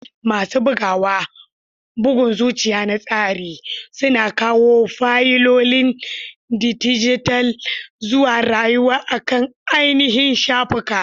Masu bugawa, bugun zuciya na tsari, suna kawo fayilolin dijital zuwa rayuwa akan ainihin shafuka.